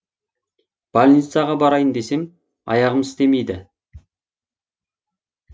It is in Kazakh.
больницаға барайын десем аяғым істемейді